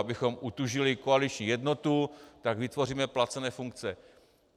Abychom utužili koaliční jednotu, tak vytvoříme placené funkce.